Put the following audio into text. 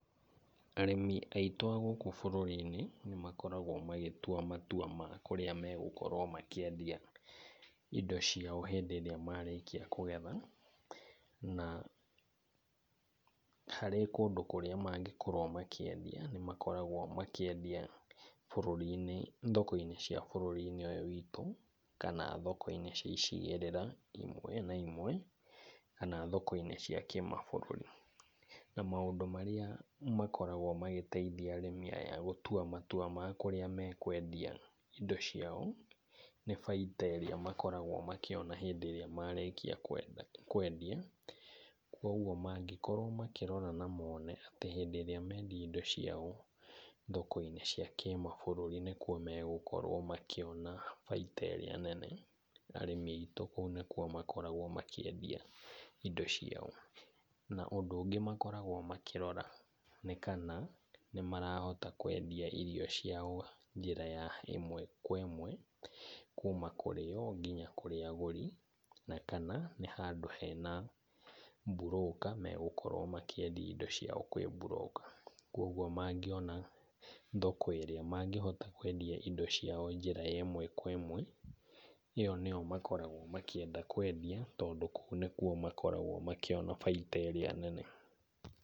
Arĩmi aitũ a gũkũ bũrũri-inĩ nĩ makoragwo magĩtua matua ma kũrĩa megũkorwo makĩendia indo ciao hĩndĩ ĩrĩa marĩkia kũgetha. Na harĩ kũndũ kũrĩa mangĩkorwo makĩendia nĩ makoragwo makĩendia thoko-inĩ cia bũrũri-inĩ ũyũ witũ, kana thoko-inĩ cia icigĩrĩra imwe na imwe, kana thoko-inĩ cia kĩmabũrũri. Na maũndũ marĩa makoragwo magĩteithia arĩmi aya gũtua matua ma kũrĩa mekwendia indo ciao, nĩ baita ĩrĩa monaga hĩndĩ ĩrĩa marĩkia kwendia. Kwoguo mangĩrora na mone atĩ hĩndĩ ĩrĩa mendia indo ciao thoko-inĩ cia kĩmabũrũri nĩkuo megũkorwo makĩona baita ĩrĩa nene, arĩmi aitũ kũu nĩkuo makoragwo makĩendia indo ciao. Na ũndũ ũngi makoragwo makĩrora nĩ kana nĩ marahota kwendia irio ciao njĩra ya ĩmwe kwa ĩmwe kuuma kũrĩ o nginya kũrĩ arĩmi. Na kana nĩ handũ hena broker megũkorwo makiendia indo ciao kwĩ broker. Kwoguo mangĩona thoko ĩrĩa mangĩhota kwendia indo ciao njĩra ya ĩmwe kwa ĩmwe, ĩyo nĩyo makoragwo makĩenda kwendia tondũ kũu nĩkuo makoragwo makĩona baita ĩrĩa nene.